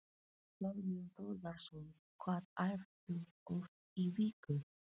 Þorbjörn Þórðarson: Hvað æfirðu oft í viku?